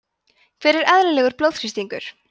hver er eðlilegur blóðþrýstingur